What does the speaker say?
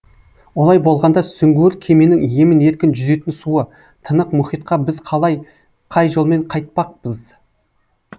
олай болғанда сүңгуір кеменің емін еркін жүзетін суы тынық мұхитқа біз қалай қай жолмен қайтпақпыз